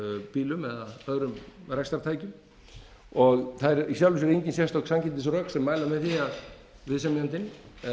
bílum eða öðrum rekstrartækjum og það eru í sjálfu sér engin sérstök sanngirnisrök sem mæla með því að viðsemjandinn